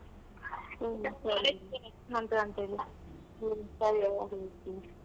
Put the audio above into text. ಹ್ಮ ಸರಿ ಹೌದಾ ಸರಿ ಹ್ಮ ಸರಿ ಹಾಗಾದ್ರೆ .